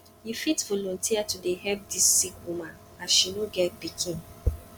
you fit volunteer to dey help dis sick woman as she no get pikin